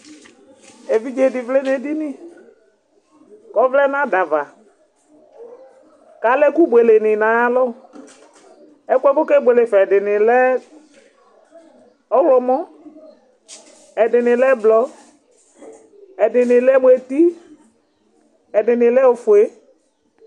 evidze di vlɛ nu edini, ku ɔvlɛ nu ada ava, ku alɛ ɛku buele ni nu ayi alɔ , ɛkuɛ ku oke buele fa yɛ ɛdini lɛ ɔwlɔmɔ, ɛdini lɛ blɔ , ɛdini lɛ mu eti, ɛdini lɛ ofue